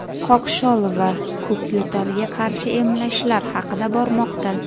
qoqshol va ko‘kyo‘talga qarshi emlashlar haqida bormoqda.